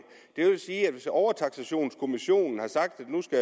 det vil sige at hvis overtaksationskommissionen har sagt